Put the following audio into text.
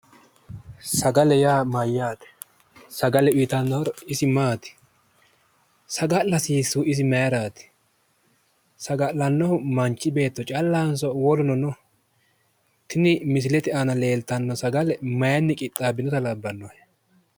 Sagale yaa mayyaate? sagale uuyitanno horo isi maati? sagale hasiissaahu isi maayiiraati? saga'lannohu manchi beetto callatinso woluno no? Tini misile leellitanno sagale maayiinni qixxaabbanno?